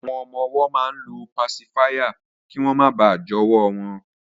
Àwọn ọmọ-ọwọ́ máa ń lo pasifáyà kí wọ́n máa bà jọwọ́ wọn